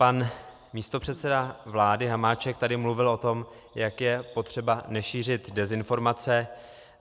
Pan místopředseda vlády Hamáček tady mluvil o tom, jak je potřeba nešířit dezinformace.